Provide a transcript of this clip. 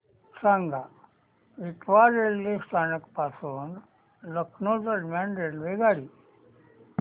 सांगा इटावा रेल्वे स्थानक पासून लखनौ दरम्यान रेल्वेगाडी